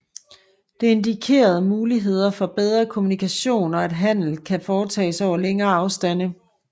Det indikerer muligheder for bedre kommunikation og at handel kan foretages over længere afstande